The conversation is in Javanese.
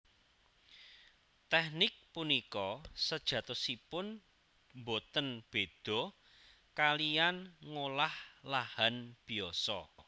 Teknik punika sejatosipun boten béda kaliyan ngolah lahan biasa